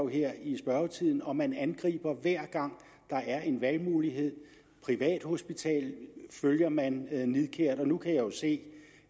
her i spørgetiden hvor man angriber hver gang der er en valgmulighed privathospitaler følger man nidkært og nu kan jeg jo se